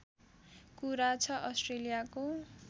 कुरा छ अस्ट्रेलियाको